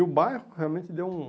E o bairro realmente deu um...